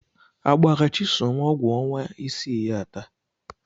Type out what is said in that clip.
Agbara Chisom ọgwụ ọnwa isii ya taa?